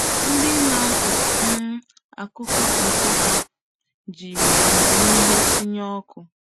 Ndị na-akọ um akụkọ Nsukka jiri amamihe tụnyere ọkụ.